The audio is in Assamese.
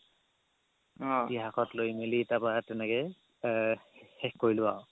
ইতিহাসত লৈ মেলি তাৰ পৰা তেনেকে এৰ শেষ কৰিলো আও